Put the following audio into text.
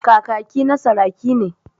Kakaki na saraki ne.